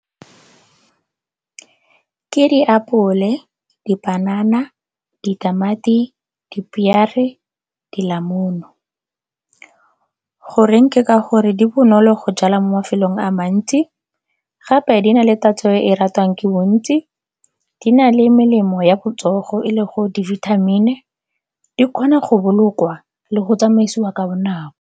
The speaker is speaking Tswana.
Ke diapole, dipanana, ditamati, dipiere, dilamunu. Go reng ke ka gore di bonolo go jala mo mafelong a mantsi gape di na le tatso e e ratwang ke bontsi. Di na le melemo ya botsogo e le go di-vitamin-i, di kgona go bolokwa le go tsamaisiwa ka bonako.